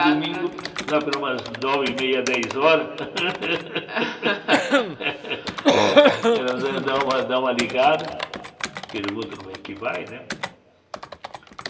Casa E no domingo, lá por umas nove, e meia, dez horas, ela dá dá uma dá uma ligada, pergunta como é que vai, né?